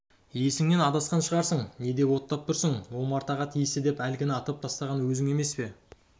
есіңнен адасқан шығарсың не деп оттап тұрсың омартаға тиісті деп әлгіні атып тастаған өзің емес пе